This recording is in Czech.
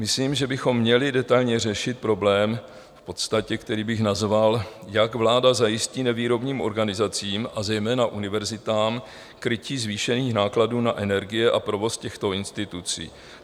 Myslím, že bychom měli detailně řešit problém v podstatě, který bych nazval: Jak vláda zajistí nevýrobním organizacím a zejména univerzitám krytí zvýšených nákladů na energie a provoz těchto institucí?